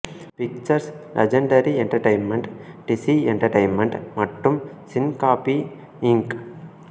pictures Legendary Entertainment DC Entertainment மற்றும் Syncopy Inc